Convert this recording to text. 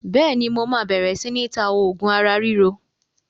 Bẹ́ẹ̀ni, mo máa bẹ̀rẹ̀ si ni ta oògùn ara ríro